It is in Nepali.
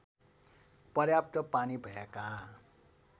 पर्याप्त पानी भएका